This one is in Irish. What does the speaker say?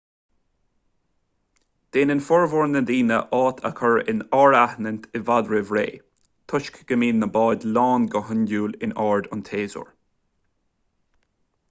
déanann formhór na ndaoine áit a chur in áirithint i bhfad roimh ré toisc go mbíonn na báid lán go hiondúil in ard an tséasúir